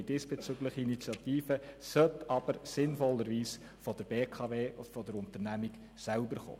Die diesbezügliche Initiative sollte aber sinnvollerweise von der BKW, also von der Unternehmung selber, kommen.